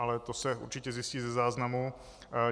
Ale to se určitě zjistí ze záznamu.